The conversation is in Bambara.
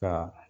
Ka